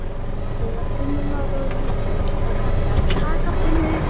Þegar tunnan var orðin full var kallað TAKA TUNNU!